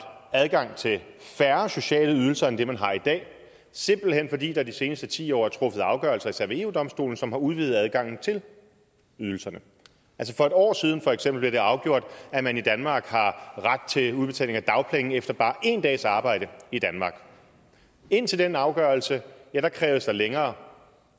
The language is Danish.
adgang til færre sociale ydelser end man har i dag simpelt hen fordi der de seneste ti år er truffet afgørelser især ved eu domstolen som har udvidet adgangen til ydelserne for et år siden for eksempel afgjort at man i danmark har ret til udbetaling af dagpenge efter bare én dags arbejde i danmark indtil den afgørelse krævedes der længere